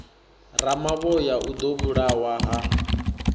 ramavhoya o ḓo vhulawa ha